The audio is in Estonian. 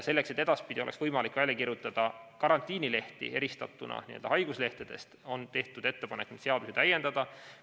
Selleks, et edaspidi oleks võimalik välja kirjutada karantiinilehti eristatuna haiguslehtedest, on tehtud ettepanek seadust täiendada.